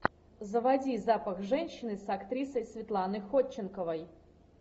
заводи запах женщины с актрисой светланой ходченковой